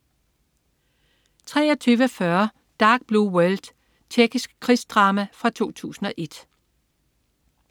23.40 Dark Blue World. Tjekkisk krigsdrama fra 2001